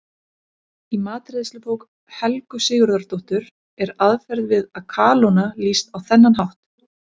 Í matreiðslubók Helgu Sigurðardóttur er aðferð við að kalóna lýst á þennan hátt: